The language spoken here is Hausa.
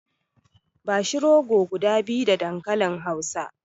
Bashi rogo guda biyu da dankalin hausa.